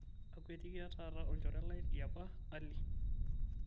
akwetikia taata olchore lai li apa Ali